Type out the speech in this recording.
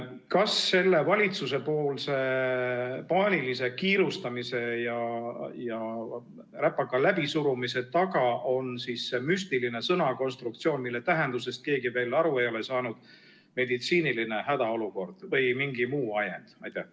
Kas valitsuse paanilise kiirustamise ja eelnõu räpaka läbisurumise taga on see müstiline sõnakonstruktsioon, mille tähendusest keegi veel aru ei ole saanud – "meditsiiniline hädaolukord" –, või mingi muu ajend?